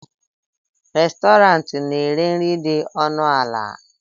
Restọrantị na-ere nri dị ọnụ ala?